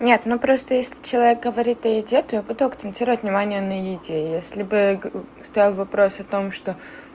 нет ну просто если человек говорит о еде то я буду акцентировать внимание на еде если бы стоял вопрос о том что